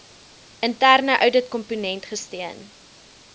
interne ouditkomponent gesteun